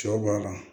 Cɛw b'a la